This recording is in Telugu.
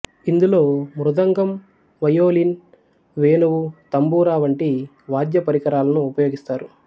ఇందులో మృదంగం వయొలిన్ వేణువు తంబూరా వంటి వాద్యపరికరాలను ఉపయోగిస్తారు